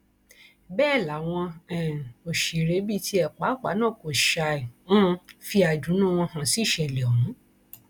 bẹẹ làwọn um òṣèré bíi tiẹ pàápàá náà kò ṣàì um fi àìdùnnú wọn hàn sí ìṣẹlẹ ọhún